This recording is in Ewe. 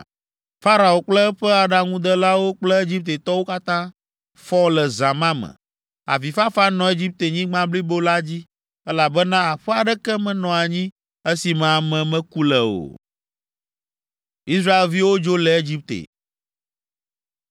Farao kple eƒe aɖaŋudelawo kple Egiptetɔwo katã fɔ le zã ma me. Avifafa nɔ Egiptenyigba blibo la dzi, elabena aƒe aɖeke menɔ anyi esi me ame meku le o.